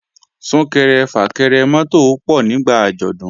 Sún-kẹrẹ-fà-kẹrẹ mọ́tò ó pọ̀ nígbà àjọ̀dún